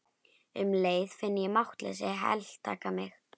Um leið finn ég máttleysið heltaka mig.